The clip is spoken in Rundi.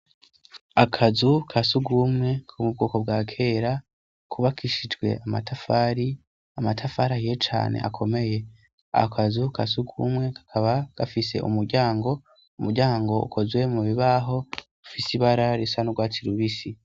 Akazu ka sugumwe ku mubwoko bwa kera kuba kishijwe tramatafari ye cane akomeye akazu kasugumwe kakaba gafise uryango umuryango ukozwe mu bibaho ifise ibara risa n'ugwatsi rubisi.